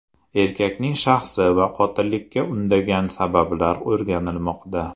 Erkakning shaxsi va qotillikka undagan sabablar o‘rganilmoqda.